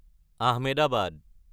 Ahmedabad